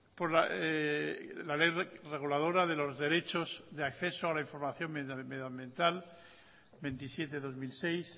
por la ley reguladora de los derechos de acceso a la información medioambiental veintisiete barra dos mil seis